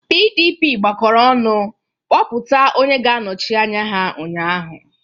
PDP gbakọrọ ọnụ kpọpụta onye ga-anọchi anya ha ụnyaahụ.